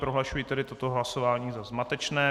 Prohlašuji tedy toto hlasování za zmatečné.